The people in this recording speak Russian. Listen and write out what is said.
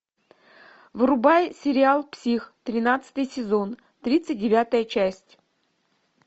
врубай сериал псих тринадцатый сезон тридцать девятая часть